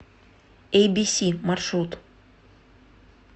эй би си маршрут